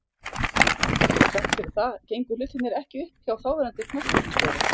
Þrátt fyrir það gengu hlutirnir ekki upp hjá þáverandi knattspyrnustjóra.